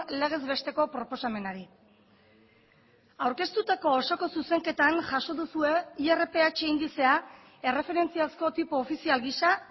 legez besteko proposamenari aurkeztutako osoko zuzenketan jaso duzue irph indizea erreferentziazko tipo ofizial gisa